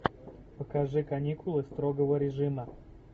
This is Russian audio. покажи каникулы строгого режима